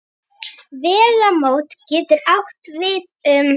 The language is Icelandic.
Vegamót getur átt við um